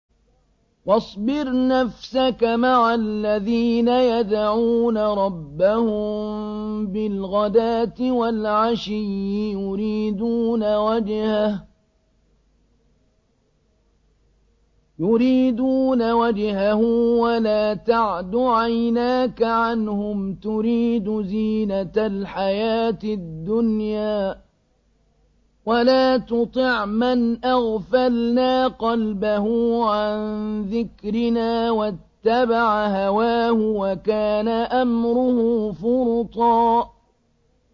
وَاصْبِرْ نَفْسَكَ مَعَ الَّذِينَ يَدْعُونَ رَبَّهُم بِالْغَدَاةِ وَالْعَشِيِّ يُرِيدُونَ وَجْهَهُ ۖ وَلَا تَعْدُ عَيْنَاكَ عَنْهُمْ تُرِيدُ زِينَةَ الْحَيَاةِ الدُّنْيَا ۖ وَلَا تُطِعْ مَنْ أَغْفَلْنَا قَلْبَهُ عَن ذِكْرِنَا وَاتَّبَعَ هَوَاهُ وَكَانَ أَمْرُهُ فُرُطًا